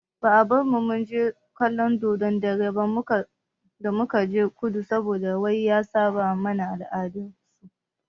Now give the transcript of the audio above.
Ba a bar mu munje kallon dodon dare ba da mukaje kudu saboda wai ya saɓa ma al'adar su.